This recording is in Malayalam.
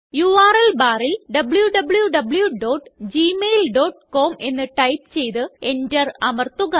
യുആർഎൽ barല് wwwgmailcom എന്ന് ടൈപ്പ് ചെയ്ത് Enter അമര്ത്തുക